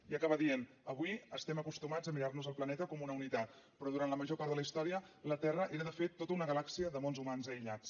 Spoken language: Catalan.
i acaba dient avui estem acostumats a mirarnos el planeta com una unitat però durant la major part de la història la terra era de fet tota una galàxia de mons humans aïllats